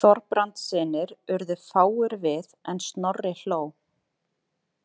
Þorbrandssynir urðu fáir við en Snorri hló.